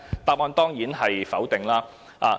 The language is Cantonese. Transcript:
答案當然是否定的。